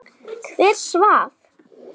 Hver svaf?